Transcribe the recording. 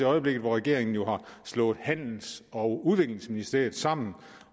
øjeblikket hvor regeringen jo har slået handels og udviklingsministeriet sammen